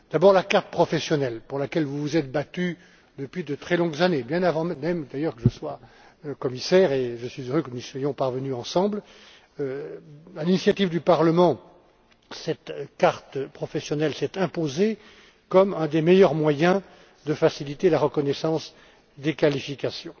D'abord, la carte professionnelle, pour laquelle vous vous êtes battue depuis de très longues années, bien avant même d'ailleurs avant que je ne sois commissaire, et je suis heureux que nous soyons parvenus ensemble, à l'initiative du Parlement, à cette carte professionnelle, qui s'est imposée comme un des meilleurs moyens de faciliter la reconnaissance des qualifications.